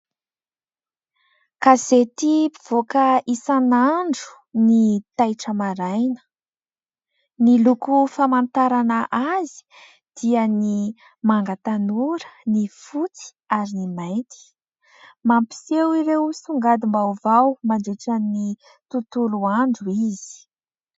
Gazety mpivoaka isanandro ny "Taitra maraina". Ny loko famantarana azy dia ny manga tanora, ny fotsy ary ny mainty. Mampiseho ireo songadim-baovao mandritra ny tontolo andro izy.